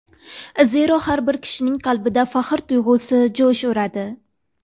Zero, har bir kishining qalbida faxr tuyg‘usi jo‘sh uradi.